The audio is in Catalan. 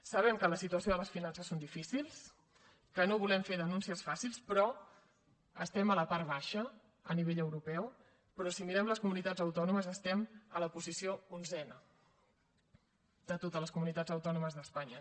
sabem que la situació de les finances és difícil que no volem fer denúncies fàcils però estem a la part baixa a nivell europeu però si mirem les comunitats autònomes estem a la posició onzena de totes les comunitats autònomes d’espanya